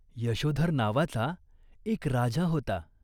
यशोधर नावाचा एक राजा होता.